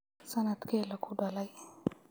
Sanadkey lakudaley?